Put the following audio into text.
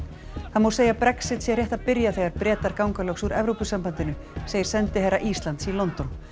það má segja að Brexit sé rétt að byrja þegar Bretar ganga loks úr Evrópusambandinu segir sendiherra Íslands í London